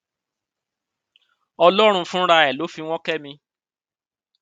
ọlọrun fúnra ẹ ló fi wọn kẹ mi